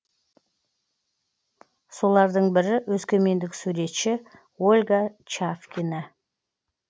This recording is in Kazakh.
солардың бірі өскемендік суретші ольга чавкина